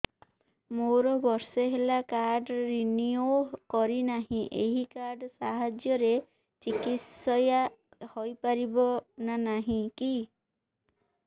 ମୋର ବର୍ଷେ ହେଲା କାର୍ଡ ରିନିଓ କରିନାହିଁ ଏହି କାର୍ଡ ସାହାଯ୍ୟରେ ଚିକିସୟା ହୈ ପାରିବନାହିଁ କି